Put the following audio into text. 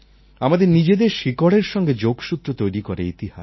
আমাদের নিজেদের শিকড়ের সঙ্গে যোগসূত্র তৈরি করে ইতিহাস